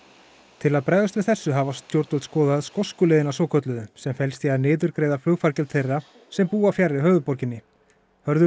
til að bregðast við þessu hafa stjórnvöld skoðað skosku leiðina svokölluðu sem felst í að niðurgreiða flugfargjöld þeirra sem búa fjarri höfuðborginni Hörður